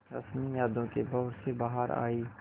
रश्मि यादों के भंवर से बाहर आई